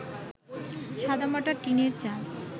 সাদামাটা টিনের চাল